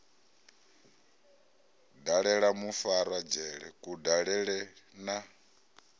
dalela mufarwa dzhele kudalele na